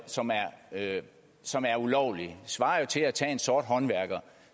som er som er ulovlig det svarer jo til at tage en sort håndværker